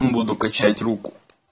буду качать руку